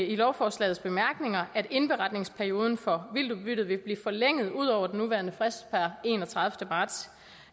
i lovforslagets bemærkninger at indberetningsperioden for vildtudbyttet vil blive forlænget ud over den nuværende frist per enogtredivete marts